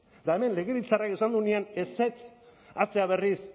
eta hemen legebiltzarrak esan duenean ezetz atzera berriz